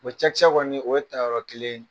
O cɛkisɛ kɔni o ye tayɔrɔ kelen ye.